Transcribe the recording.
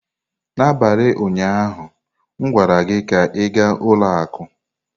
N'abalị ụnyaahụ m gwara gị ka ị gaa ụlọ akụ!